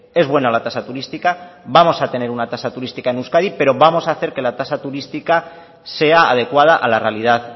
es buena la tasa turística vamos a tener una tasa turística en euskadi pero vamos a hacer que la tasa turística sea adecuada a la realidad